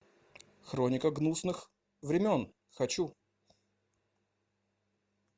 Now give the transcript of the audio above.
хроника гнусных времен хочу